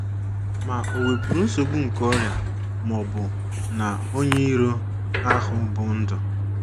Ma o wepuru nsogbu nke ọrịa ma ọ bụ na onye iro ahụ bụ́ ndu.